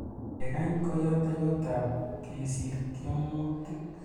Kengany ko yateiywotap kesir tiemutik